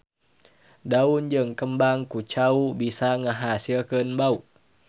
Daun jeung kembang kucau bisa ngahasilkeun bau.